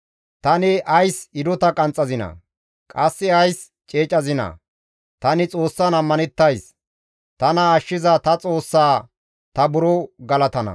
Tani ays hidota qanxxazinaa? Qasse ays ceecazinaa? Tani Xoossan ammanettays; tana ashshiza ta Xoossaa ta buro galatana.